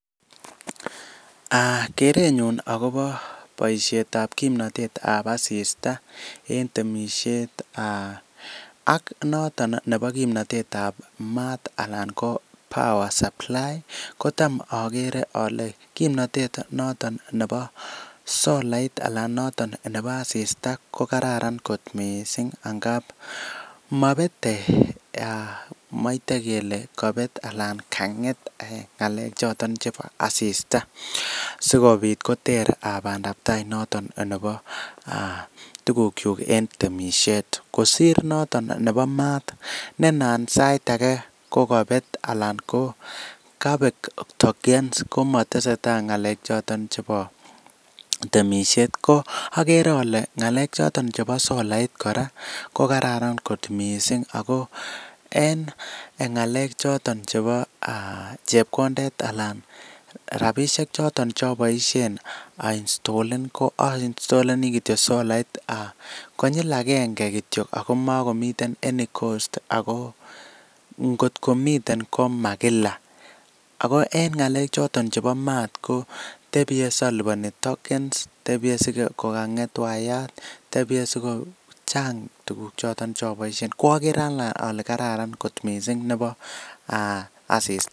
Kerenyun akobo boisiet ab kimnotetab asista en temisiet ak noton nebo kimnotet ab maat anan ko power supply kotam ogere ole kimnotet noton nebo solait anan noton nebo asista ko kararan kot missing ngab mobete, moite kele kabeet alan kang'et choton chebo asista sikobit koter bandab tai noton nebo tugukyuk en temisiet kosir noton nebo maat ne anan kokabet alan kokabek tokens komotesetai ng'alek choton chebo temisiet, ko agere ole ng'alek choton chebo solait kora ko kararan kot missing ako en ng'alek choton chebo chebkondet alan rabisiek choton choboisien ainstolen ko ainstoleni kityo solait konyil agenge kityo ako mogomiten any cost ako nkotkomiten komakila, ako en ng'alek choton chebo maat ko tebie siliboni tokens tebie sikokang'et wayat, chang' tuguk choton cheoboisien, ko agere anee ole karan kot missing nebo asista.